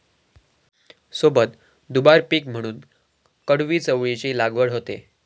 सोबत दुबार पीक म्हणून कडवी चवळीची लागवड होते